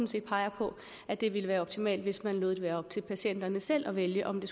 set peger på at det ville være optimalt hvis man lod det være op til patienterne selv at vælge om det